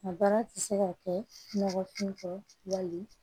A baara tɛ se ka kɛ nɔgɔ kun wali